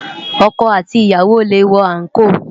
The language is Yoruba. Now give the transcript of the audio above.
Òkò àtí iyàwó lé wò ànkó